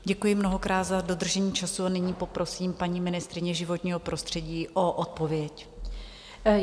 Děkuji mnohokrát za dodržení času a nyní poprosím paní ministryně životního prostředí o odpověď.